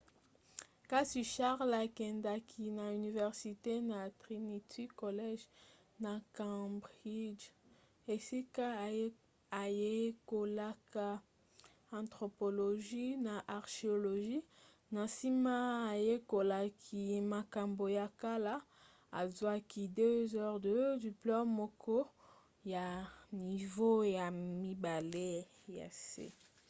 kasi charles akendaki na université na trinity college na cambridge esika ayekolaka anthropologie na archéologie na nsima ayekolaki makambo ya kala azwaki 2:2 diplome moko ya nivo ya mibale ya se